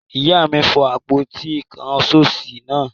Ìyá mi fọ́ àpótí-ìkáṣọsí náà.